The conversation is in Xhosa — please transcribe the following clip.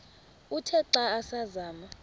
uthe xa asazama